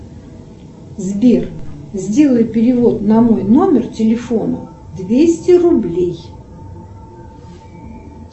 сбер сделай перевод на мой номер телефона двести рублей